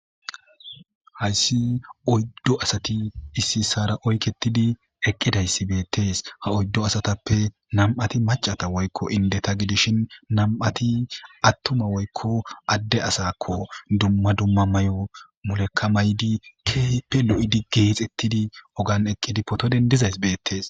hayssi oyddo asati issi ssara oyketidi eqqidayssi beettees ha oyddo asatappe nam7ati macata woykko indeta gidishin nam7ati attuma woykko adde asakko dumma dumma may7o mulekamaydi keeppe lo7idi geexettidi ogan eqqidi potodendizays beettees